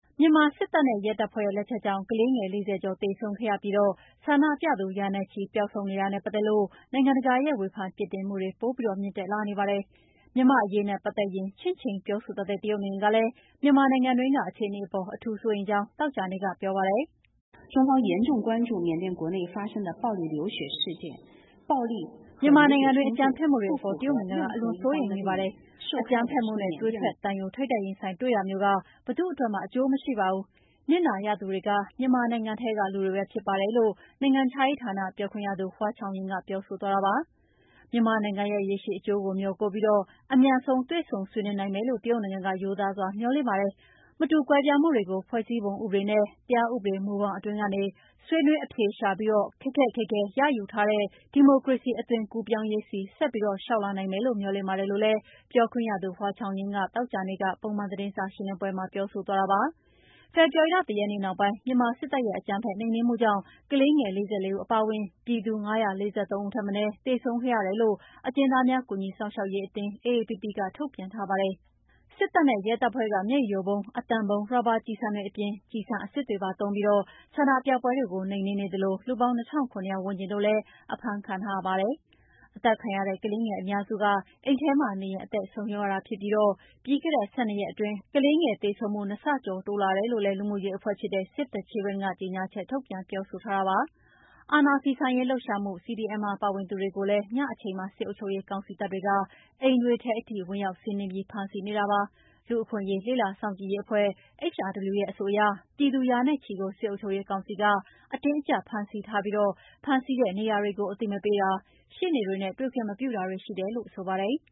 မြန်မာစစ်တပ်နဲ့ ရဲတပ်ဖွဲ့ရဲ့ လက်ချက်ကြောင့် ကလေးငယ် ၄၀ ကျော်သေဆုံးခဲ့ရပြီး ဆန္ဒပြသူ ရာနဲ့ချီ ပျောက်ဆုံးနေတာနဲ့ ပတ်သက်လို့ နိုင်ငံတကာရဲ့ ဝေဖန်ပြစ်တင်မှုတွေ ပိုမြင့်တက်လာနေပါတယ်။ မြန်မာ့အရေးနဲ့ ပတ်သက်ရင် ချင့်ချိန်ပြောဆိုတတ်တဲ့ တရုတ်နိုင်ငံကလည်း မြန်မာနိုင်ငံတွင်းက အခြေအနေအပေါ်အထူးစိုးရိမ်ကြောင်း သောကြာနေ့က ပြောပါတယ်။ “မြန်မာနိုင်ငံတွင်းက အကြမ်းဖက်မှုတွေအပေါ် တရုတ်နိုင်ငံက အလွန်စိုးရိမ်နေပါတယ်။ အကြမ်းဖက်မှုနဲ့ သွေးထွက်သံယို ထိပ်တိုက်တွေ့တာမျိုးက ဘယ်သူ့အတွက်မှ အကျိုးမရှိပါဘူး။ နစ်နာရသူတွေက မြန်မာနိုင်ငံထဲက လူတွေပဲဖြစ်ပါတယ်” လို့ နိုင်ငံခြားရေးဌာနေပြောခွင့်ရသူ Hua Chunying က ပြောဆိုသွားတာ ဖြစ်ပါတယ်။ မြန်မာနိုင်ငံရဲ့ ရေရှည်အကျိုးကို မျှော်ကိုးပြီး အမြန်ဆုံး တွေ့ဆုံဆွေးနွေးနိုင်မယ်လို့ တရုတ်နိုင်ငံက ရိုးသားစွာမျှော်လင့်ပါတယ်။ မတူကွဲပြားမှုတွေကို ဖွဲ့စည်းပုံဥပဒေနဲ့တရားဥပဒေမူဘောင်အတွင်းကနေ ဆွေးနွေးအရှာပြီး ခက်ခက်ခဲခဲရယူထားတဲ့ ဒီမိုကရေစီအသွင်ကူးပြောင်းရေးဆီ ဆက်ပြီးလျှောက်လှမ်းနိုင်မယ်လို့ မေ ျှာ်လင့်ပါတယ်လို့လည်း ပြောခွင့်ရသူ Hua Chunying က ပြောဆိုသွားပါတယ်။ ဖေဖော်ဝါရီလ ၁ ရက်နေ့နောက်ပိုင်း မြန်မာစစ်တပ်ရဲ့အကြမ်းဖက်နှိမ်နှင်းမှုကြောင့် ကလေးငယ် ၄၄ ဦးအပါအဝင် ပြည်သူ ၅၄၃ ဦးထက်မနည်း သေဆုံးခဲ့တယ်လို့ အကျဉ်းသားများ ကူညီစောင့်ရှောက်ရေးအသင်း AAPP က ထုတ်ပြန်ထားတာပါ။ စစ်တပ်နဲ့ ရဲတပ်ဖွဲ့ဖက်က မျက်ရည်ယိုဗုံး၊ အသံဗုံး၊ ရာဘာကျည်ဆံအပြင် ကျည်ဆံအစစ်တွေသုံးပြီး ဆန္ဒပြပွဲတွေကို နှိမ်နှင်းသလို လူပေါင်း ၂၇၀၀ ဝန်းကျင်တို့လည်း အဖမ်းခံထားရပါတယ်။ အသတ်ခံရတဲ့ ကလေးငယ်အများစုက အိမ်ထဲမှာနေရင်း အသက်ဆုံးရှုံးရတာဖြစ်ပြီး ပြီးခဲ့တဲ့ ၁၂ ရက်အတွင်း အရွယ်မရောက်သေးတဲ့ကလေးငယ်သေဆုံးမှု ၂ ဆကျော် တိုးလာတယ် လို့လည်း လူမှုရေးအဖွဲ့ဖြစ်တဲ့ Save the Children ကြေညာချက်ထုတ် ပြောဆိုထားပါတယ်။ အာဏာဖီဆန်ရေးလှုပ်ရှားမှု CDM မှာပါဝင်သူတွေကိုလည်း ညအချိန်မှာ စစ်အုပ်ချုပ်ရေးကောင်စီ တပ်တွေက အိမ်တွေထဲ ဝင်ရောက်စီနင်းပြီး ဖမ်းဆီးနေတာဖြစ်ပါတယ်။ လူ့အခွင့်အရေး လေ့လာစောင့်ကြည့်ရေးအဖွဲ့ HRW ရဲ့အဆိုအရ ပြည်သူရာနဲ့ချီကို စစ်အုပ်ချုပ်ရေးကောင်စီက အတင်းအကြပ်ဖမ်းဆီးသွားပြီး ဖမ်းဆီးထားတဲ့နေရာကိုအသိမပေးတာ၊ ရှေ့နေတွေနဲ့တွေ့ခွင့်မပြု တာတွေရှိတယ်လို့ ပြောပါတယ်။